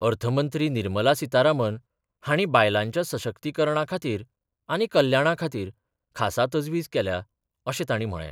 अर्थ मंत्री निर्मला सितारामन हांणी बायलांच्या सशक्तीकरणा खातीर आनी कल्याणा खातीर खासा तजवीज केल्या अशें तांणी म्हळें.